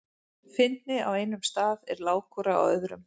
Fyndni á einum stað er lágkúra á öðrum.